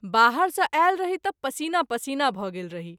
बाहर सँ आयल रही त’ पसीना पसीना भ’ गेल रही।